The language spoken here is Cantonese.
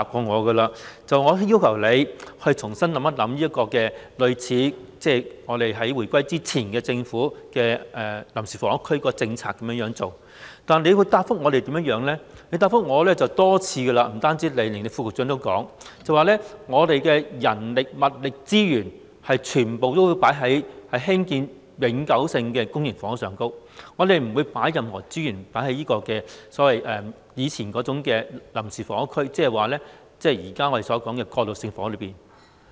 我曾要求局長重新考慮採用回歸前的臨時房屋區政策，但陳帆局長多次答覆我——不單是他，連副局長也是這樣說——政府的人力、物力及資源全部都會放在興建永久性公營房屋上，不會投放任何資源推動以前稱為臨時房屋、即我們現時討論的過渡性房屋上。